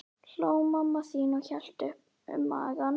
hló mamma þín og hélt um magann.